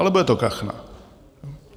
Ale bude to kachna.